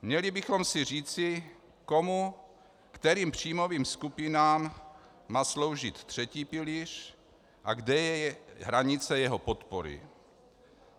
Měli bychom si říci, komu, kterým příjmových skupinám má sloužit třetí pilíř a kde je hranice jeho podpory.